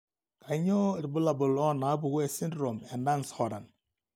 Kainyio irbulabul onaapuku esindirom eNance Horan?